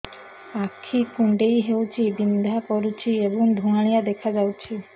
ଆଖି କୁଂଡେଇ ହେଉଛି ବିଂଧା କରୁଛି ଏବଂ ଧୁଁଆଳିଆ ଦେଖାଯାଉଛି